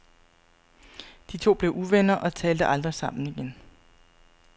De to blev uvenner og talte aldrig sammen igen.